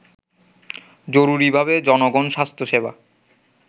জরুরীভাবে জনগণ স্বাস্থ্যসেবা